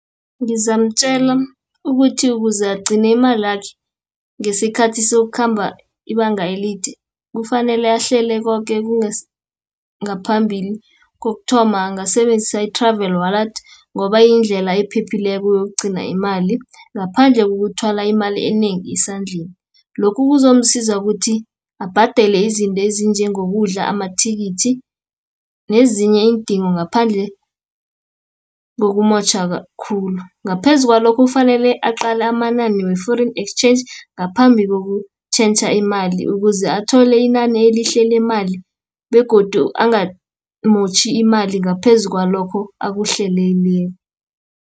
Ngizamtjela ukuthi ukuze agcine imalakhe, ngesikhathi sokukhamba ibanga elide, kufanele ahlele koke ngaphambili. Kokuthoma angasebenzisa i-Travel Wallet, ngoba yindlela ephephileko yokugcina imali, ngaphandle kokuthwala imali enengi esandleni. Lokhu kuzomsiza ukuthi abhadele izinto ezinjengokudla, amathikithi, nezinye iindingo ngaphandle kokumotjha khulu. Ngaphezu kwalokho kufanele aqale amanani we-Foreign Exchange ngaphambi kokutjhentjha imali, ukuze athole inani elihle lemali, begodu angamotjha imali, ngaphezu kwalokho akuhleleleko.